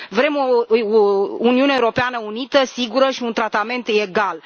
Vrem o Uniune Europeană unită, sigură și un tratament legal.